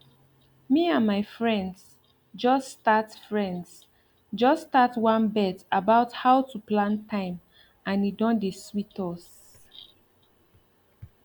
me and my friends just start friends just start one bet about how to plan time and e don dey sweet us